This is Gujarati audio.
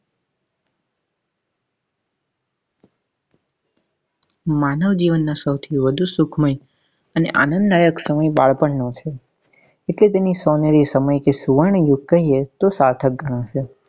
માનવજીવન નો સૌથી વધુ સુખમય એટલે આનંદદાયક સમય બાળપણ નો છે એટલે તેનો સોનેરી સમય કે સુવર્ણયુગ કહીએ તો સાર્થક ગણું છે.